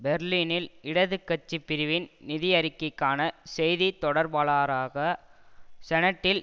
பெர்லினில் இடதுகட்சி பிரிவின் நிதியறிக்கைக்கான செய்தி தொடர்பாளராக செனட்டில்